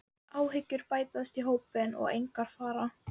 Áhyggjur bætast í hópinn og engar fara.